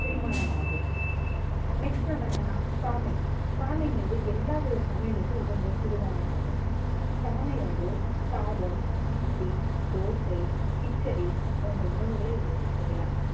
செரிமானம் ஆகும் next நாம என்னன்னா சாமை சாமைங்கிறது எல்லாவித சமையலுக்கும் உகந்த சிறுதானியமாகும் சாமை வந்து சாதம், இட்லி, தோசை, கிச்சடி போன்ற உணவுகளை வச்சு செய்யலாம்